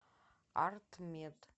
артмед